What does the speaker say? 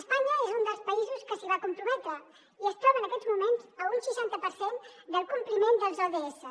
espanya és un dels països que s’hi va comprometre i es troba en aquests moments a un seixanta per cent del compliment dels odss